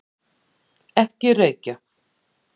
Ekki reykja!